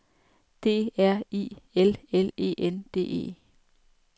D R I L L E N D E